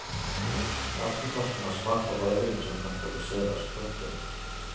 Aftenposten har smakt på rødvinen som kan produseres. punktum